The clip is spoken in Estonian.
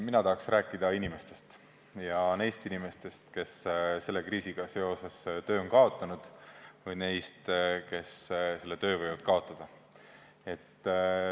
Mina tahaks rääkida neist inimestest, kes selle kriisiga seoses töö on kaotanud, või neist, kes töö võivad kaotada.